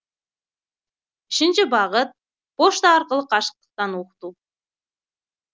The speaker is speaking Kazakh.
үшінші бағыт пошта арқылы қашықтықтан оқыту